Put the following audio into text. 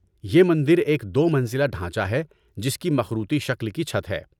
‏یہ مندر ایک دو منزلہ ڈھانچہ ہے جس کی مخروطی شکل کی چھت ہے